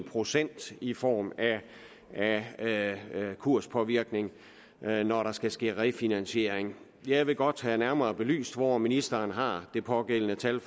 procent i form af af kurspåvirkning når der skal ske en refinansiering jeg vil godt have nærmere belyst hvor ministeren har det pågældende tal